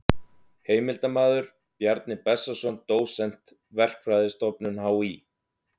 Heimildarmaður: Bjarni Bessason dósent, Verkfræðistofnun HÍ.